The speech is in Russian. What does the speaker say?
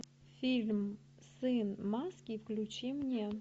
фильм сын маски включи мне